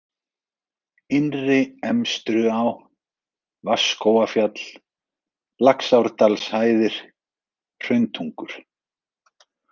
Innri-Emstruá, Vatnsskógafjall, Laxárdalshæðir, Hrauntungur